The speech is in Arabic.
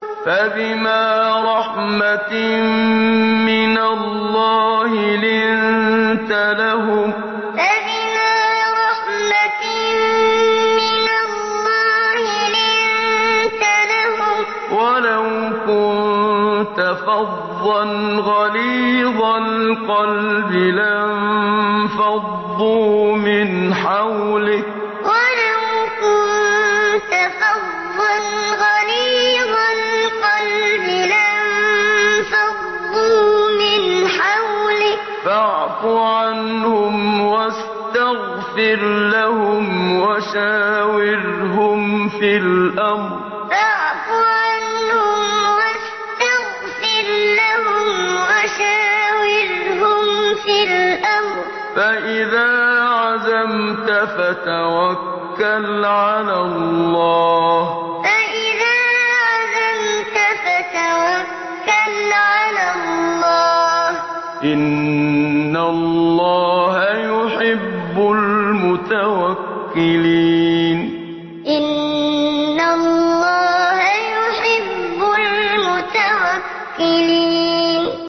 فَبِمَا رَحْمَةٍ مِّنَ اللَّهِ لِنتَ لَهُمْ ۖ وَلَوْ كُنتَ فَظًّا غَلِيظَ الْقَلْبِ لَانفَضُّوا مِنْ حَوْلِكَ ۖ فَاعْفُ عَنْهُمْ وَاسْتَغْفِرْ لَهُمْ وَشَاوِرْهُمْ فِي الْأَمْرِ ۖ فَإِذَا عَزَمْتَ فَتَوَكَّلْ عَلَى اللَّهِ ۚ إِنَّ اللَّهَ يُحِبُّ الْمُتَوَكِّلِينَ فَبِمَا رَحْمَةٍ مِّنَ اللَّهِ لِنتَ لَهُمْ ۖ وَلَوْ كُنتَ فَظًّا غَلِيظَ الْقَلْبِ لَانفَضُّوا مِنْ حَوْلِكَ ۖ فَاعْفُ عَنْهُمْ وَاسْتَغْفِرْ لَهُمْ وَشَاوِرْهُمْ فِي الْأَمْرِ ۖ فَإِذَا عَزَمْتَ فَتَوَكَّلْ عَلَى اللَّهِ ۚ إِنَّ اللَّهَ يُحِبُّ الْمُتَوَكِّلِينَ